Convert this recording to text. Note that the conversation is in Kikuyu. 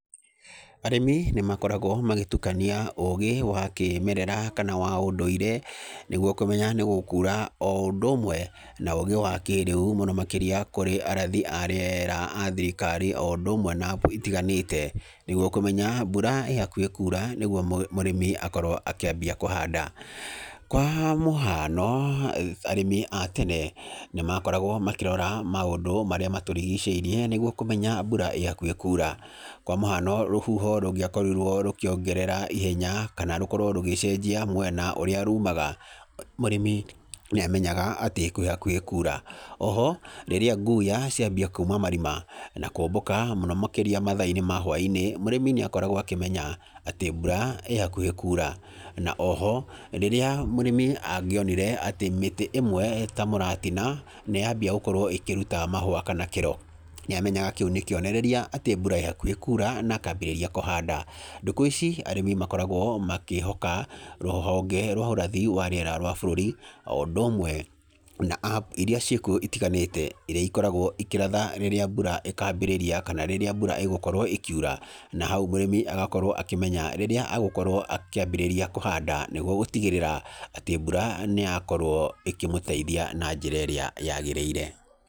Arĩmi nĩ makoragwo magĩtukania ũgĩ wa kĩmerera kana wa ũndũire, nĩguo kũmenya nĩ gũkuura o ũndũ ũmwe na ũgĩ wa kĩĩrĩu mũno makĩria kũrĩ arathi a rĩera a thirikari, o ũndũ ũmwe na app itiganĩte nĩguo kũmenya mbura ĩhakuhĩ kuura nĩguo mũrĩmi akorwo akĩambia kũhanda. Kwa mũhano, arĩmi a tene nĩ makoragwo makĩrora maũndũ marĩa matũrigicĩirie nĩguo kũmenya mbura ĩhakuhĩ kuura, kwa mũhano rũhuho rũngĩakorirwo rũkiongerera ihenya kana rũkorwo rũgĩcenjia mwena ũrĩa rumaga, mũrĩmi nĩ amenya atĩ kwĩ hakuhĩ kuura. Oho rĩrĩa nguya ciambia kuuma marima, na kũũmbũka mũno makĩria matha-inĩ ma hwainĩ, mũrĩmi nĩ akoragwo akĩmenya atĩ mbura ĩhakuhĩ kuura, na oho rĩrĩa mũrĩmi angĩonire atĩ mĩtĩ ĩmwe ta mũratina ni yambia gũkorwo ĩkĩruta mahũa kana kĩro, nĩ amenyaga kĩu nĩ kĩonereria atĩ mbura ĩ hakuhĩ kuura na akambĩrĩria kũhanda. Ndukũ ici arĩmi makoragwo makĩhoka rũhonge rwa ũrathi wa rĩera rwa bũrũri, o ũndũ ũmwe na app iria ciĩkuo itiganĩte, irĩa ikoragwo ikĩratha rĩrĩa mbura ĩkambĩrĩria, kana rĩrĩa mbura ĩgũkorwo ĩkiura, na hau mũrĩmi agakorwo akĩmenya rĩrĩa agũkorwo akĩambĩrĩria kũhanda, nĩguo gũtigĩrĩra atĩ mbura nĩ yakorwo ĩkĩmũteithia na njĩra ĩrĩa yagĩrĩire.